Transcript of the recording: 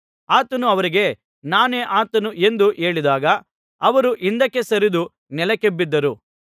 ಆತನು ಅವರಿಗೆ ನಾನೇ ಆತನು ಎಂದು ಹೇಳಿದಾಗ ಅವರು ಹಿಂದಕ್ಕೆ ಸರಿದು ನೆಲಕ್ಕೆ ಬಿದ್ದರು